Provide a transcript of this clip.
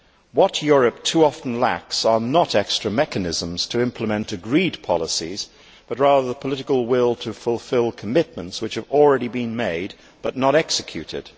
What Europe too often lacks is not extra mechanisms to implement agreed policies, but rather the political will to fulfil commitments which have already been made but not executed.